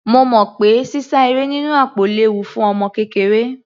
Mo mọ̀ pé sísá eré nínú àpò léwu fún ọmọ kékeré.